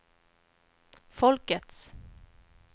folkets